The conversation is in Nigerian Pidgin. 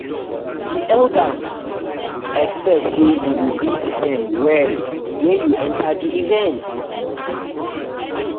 di elders expect say you go greet everybody well when you enter di event.